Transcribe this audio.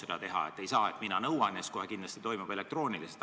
Ei saa nii, et mina nõuan ja siis kohe kindlasti koosolek toimub elektrooniliselt.